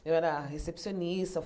Eu era recepcionista.